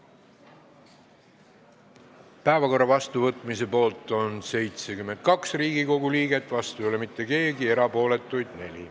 Hääletustulemused Päevakorra vastuvõtmise poolt on 72 Riigikogu liiget, vastu ei ole mitte keegi ja erapooletuid on 4.